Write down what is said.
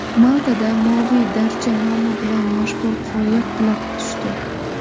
Maltada Moviy darcha nomi bilan mashhur qoya qulab tushdi.